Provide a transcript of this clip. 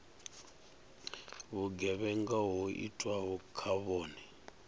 vhugevhenga ho itwaho kha vhone